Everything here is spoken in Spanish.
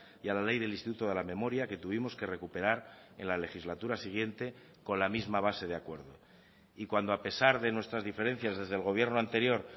y a la ley del instituto de la memoria que tuvimos que recuperar en la legislatura siguiente con la misma base de acuerdo y cuando a pesar de nuestras diferencias desde el gobierno anterior